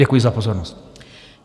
Děkuji za pozornost.